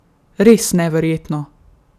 Res neverjetno!